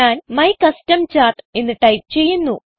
ഞാൻ my custom chart എന്ന് type ചെയ്യുന്നു